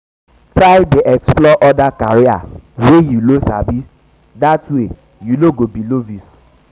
try dey explore oda career wey yu no sabi dat way yu no go bi novice